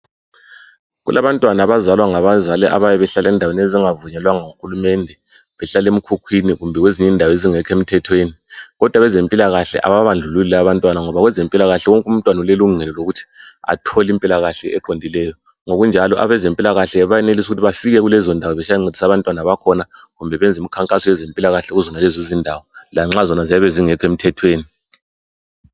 Kulabantwana abazalwa ngabazali abayabezalwa endaweni ezingavunyelwa ngu hulumende , behlala emkhukhwini kumbe kwezinye indawo ezingekho emthathweni kodwa abezempilakahle abababandlululi laba abantwana ngoba kwezempilakahle wonke umntwana ulelungelo lokuthi athole impilakahle eqondileyo ngokunjalo abazempilakahle bayenelisa ukuthi befike kukezondawo besiyancedisa abantwana bakhona kumbe benze umkhankaso wezempilahle kuzonalezo izindawo lanxa nje ziyabe zingekho emthethweni